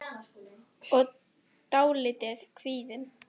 og dálítið kvíðin.